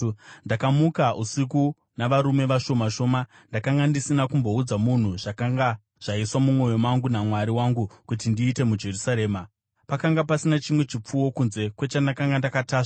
Ndakamuka usiku navarume vashoma shoma. Ndakanga ndisina kumboudza munhu zvakanga zvaiswa mumwoyo mangu naMwari wangu kuti ndiite muJerusarema. Pakanga pasina chimwe chipfuwo kunze kwechandakanga ndakatasva.